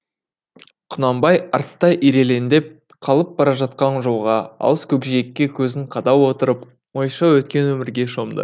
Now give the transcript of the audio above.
құнанбай артта ирелеңдеп қалып бара жатқан жолға алыс көкжиекке көзін қадап отырып ойша өткен өмірге шомды